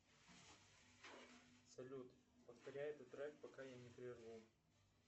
салют повторяй этот трек пока я не прерву